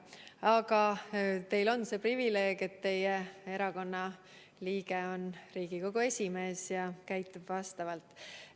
Aga teil on see privileeg, et teie erakonna liige on Riigikogu esimees ja käitub vastavalt.